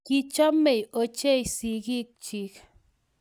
Kichomei ochei sikiik chiik.